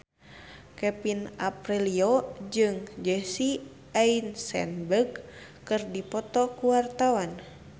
Kevin Aprilio jeung Jesse Eisenberg keur dipoto ku wartawan